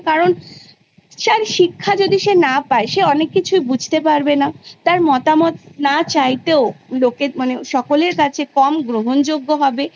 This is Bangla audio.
কারণ তার শিক্ষা যদি সে না পায় সে অনেক কিছুই বুঝতে পারবে না তার মতামত না চাইতেও লোকের মানে সকলের কাছে কম গ্রহণযোগ্য হবে